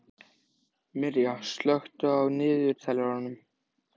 Mirja, slökktu á niðurteljaranum.